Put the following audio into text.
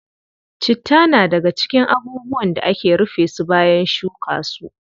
Citta na daga cikin abubuwan da ake rufe su bayan shuka su.